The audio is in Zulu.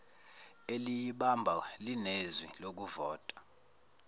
eliyibamba linezwi lokuvota